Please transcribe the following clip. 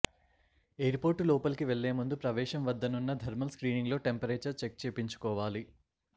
airport లోపలికి వెళ్లే ముందు ప్రవేశం వద్దనున్న థర్మల్ స్క్రీనింగ్లో టెంపరేచర్ చెక్ చేపించుకోవాలి